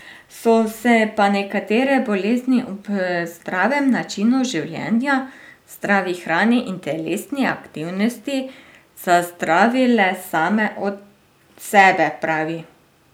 So se pa nekatere bolezni ob zdravem načinu življenja, zdravi hrani in telesni aktivnosti, zazdravile same od sebe, pravi.